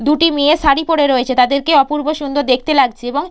দুটি মেয়ে শাড়ি পরে রয়েছে তাদের কে অপূর্ব সুন্দর দেখতে লাগছে এবং --